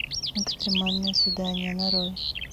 экстремальное свидание нарой